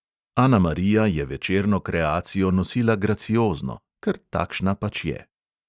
Anamarija je večerno kreacijo nosila graciozno – ker takšna pač je.